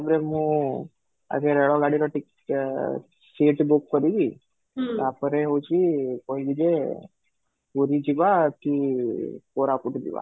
ତା'ପରେ ମୁଁ ଆଗେ ରେଳଗାଡିର ticket seat book କରିବି ତା'ପରେ ହଉଛି କହିବି ଯେ ପୁରୀ ଯିବା କି କୋରାପୁଟ ଯିବା